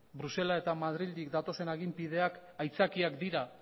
bruselas eta madrildik datozen aginpideak aitzakiak dira